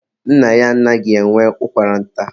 mba, nna ya anaghị enwe ụkwara nta.